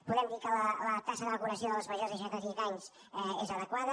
podem dir que la taxa de vacunació dels majors de seixanta cinc anys és adequada